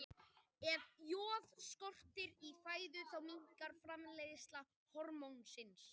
Ef joð skortir í fæðu þá minnkar framleiðsla hormónsins.